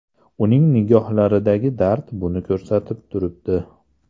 Uning nigohlaridagi dard buni ko‘rsatib turibdi.